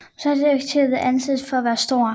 Mossads effektivitet anses for at være stor